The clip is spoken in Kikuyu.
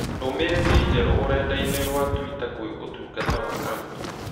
ndũmĩrĩri njerũ ũrenda-inī rũa tũita kwĩ ũtungata wa agũri